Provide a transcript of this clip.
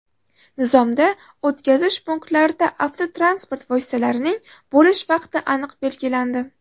Nizomda o‘tkazish punktlarida avtotransport vositalarining bo‘lish vaqti aniq belgilandi.